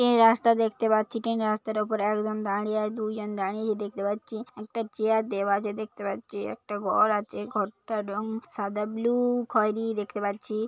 রাস্তা দেখতে পাচ্ছি ট্রেন -এর রাস্তাটার উপর একজন দাঁড়িয়ে আয় দুজন দাঁড়িয়ে দেখতে পাচ্ছি। একটা চেয়ার দেওয়া আছে দেখতে পাচ্ছি একটা ঘর আছে ঘরটার রং সাদা ব্লু খয়েরি দেখতে পাচ্ছি।